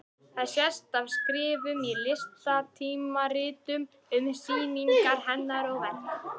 Það sést af skrifum í listatímaritum um sýningar hennar og verk.